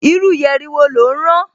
Irú yẹ̀rì wo lò ń rán